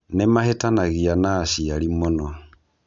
Nĩ mahĩtanagia na aciari mũno.